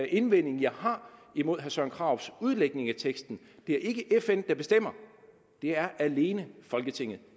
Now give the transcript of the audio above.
indvending jeg har imod herre søren krarups udlægning af teksten det er ikke fn der bestemmer det er alene folketinget